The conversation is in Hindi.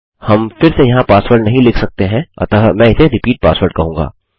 हम फिर से यहाँ पासवर्ड नहीं लिख सकते हैं अतः मैं इसे रिपीट पासवर्ड कहूँगा